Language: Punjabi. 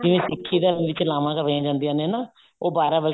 ਜਿਵੇਂ ਸਿੱਖੀ ਦੇ ਵਿੱਚ ਲਾਵਾਂ ਕਰਵਾਈਆਂ ਜਾਂਦੀਆਂ ਨੇ ਨਾ ਉਹ ਬਾਰਹ ਵੱਜੇ